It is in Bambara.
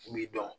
K'u m'i dɔn